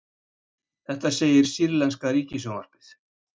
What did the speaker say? Þetta segir sýrlenska ríkissjónvarpið